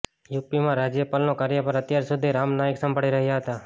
યૂપીમાં રાજ્યપલનો કાર્યભાર અત્યાર સુધી રામ નાઈક સંભાળી રહ્યા હતા